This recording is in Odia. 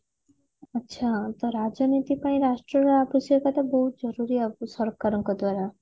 ଆଛା ତ ରାଜନୀତି ପାଇଁ ରାଷ୍ଟ୍ର ର ଅବଶ୍ୟକତା ବୋହୁତ ଜରୁରୀ ସରକାର ଙ୍କ ଦ୍ଵାରା